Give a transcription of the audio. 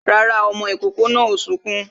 Rárá, ọmọ ìkòkò náà ò sunkún